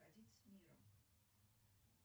уходить с миром